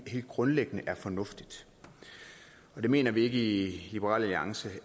helt grundlæggende er fornuftigt det mener vi ikke i liberal alliance